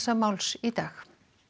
í dag